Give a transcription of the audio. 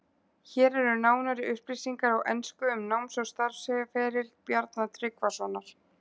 Hér eru nánari upplýsingar á ensku um náms- og starfsferil Bjarna Tryggvasonar.